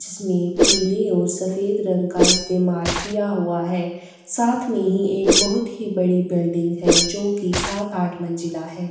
जिसमें पीले और सफेद रंग का इस्तेमाल किया हुआ है साथ में ही एक बहुत ही बड़ी बिल्डिंग है जो कि सात-आठ मंजिला है।